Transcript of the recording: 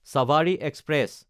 Sabari express